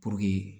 Puruke